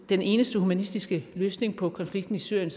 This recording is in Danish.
den eneste humanistiske løsning på konflikten i syrien